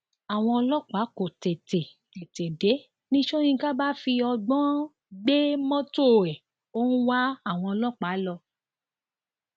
àwọn ọlọpàá kò tètè tètè dé ni sọkínkà bá fi ọgbọn gbé mọtò ẹ ó ń wá àwọn ọlọpàá lọ